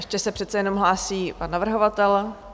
Ještě se přece jen hlásí pan navrhovatel.